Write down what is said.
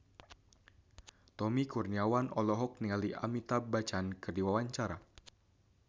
Tommy Kurniawan olohok ningali Amitabh Bachchan keur diwawancara